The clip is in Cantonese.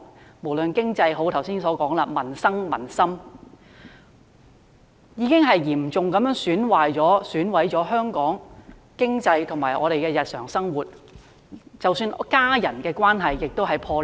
正如我剛才所說，在經濟、民生及民心方面，均已嚴重損害香港經濟，以及我們的日常生活，即使是家人之間的關係亦破裂。